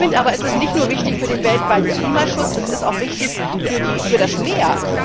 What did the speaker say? Ich finde aber, es ist nicht nur wichtig für den weltweiten Klimaschutz, es ist auch wichtig für das Meer.